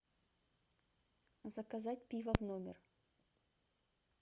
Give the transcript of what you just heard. заказать пиво в номер